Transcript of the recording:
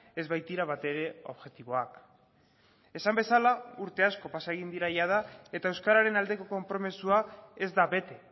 ez baitira batere objektiboak esan bezala urte asko pasa egin dira jada eta euskararen aldeko konpromisoa ez da bete